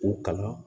K'u kalan